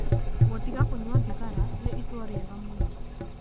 Gũtiga kũnyua thigara nĩ itua rĩega mũno.